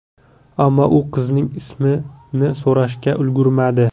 Ammo u qizning ismini so‘rashga ulgurmadi.